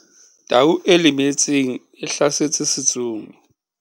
Tau e lemetseng e hlasetse setsomi.